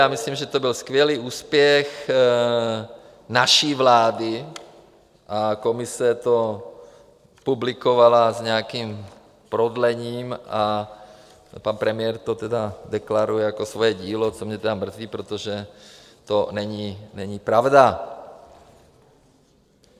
Já myslím, že to byl skvělý úspěch naší vlády, a Komise to publikovala s nějakým prodlením a pan premiér to tedy deklaruje jako svoje dílo, což mě tedy mrzí, protože to není pravda.